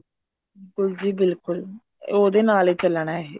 ਬਿਲਕੁਲ ਜੀ ਬਿਲਕੁਲ ਉਹਦੇ ਨਾਲ ਹੀ ਚੱਲਣਾ ਇਹ